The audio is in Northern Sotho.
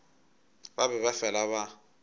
ba be ba fela ba